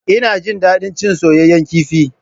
Ina jin daɗin cin soyayyen kifi.